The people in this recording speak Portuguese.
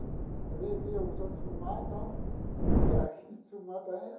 Às vezes, via os outros fumar, então, e aí, quis fumar também.